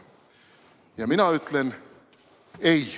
Ja mina ütlen: "Ei."